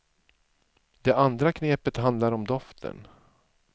Det andra knepet handlar om doften.